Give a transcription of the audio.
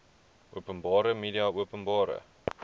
openbare media openbare